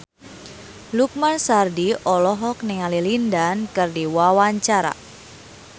Lukman Sardi olohok ningali Lin Dan keur diwawancara